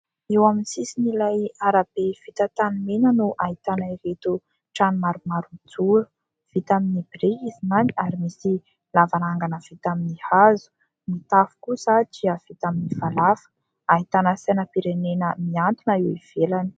Eo amin'ny sisin'ilay arabe vita tanimena no ahitana ireto trano maromaro mijoro. vita amin'ny biriky izany ary misy lavarangana vita amin'ny hazo. Ny tafo kosa dia vita amin'ny falafa. Ahitana sainam-pirenena mihantona eo ivelany.